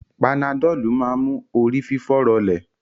Panadọ́lù máa ń mú orí fífọ́ rọlẹ̀